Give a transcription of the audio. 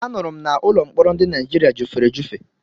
Anụrụ m na ụlọ mkpọrọ ndị Naịjirịa jufere ejufe.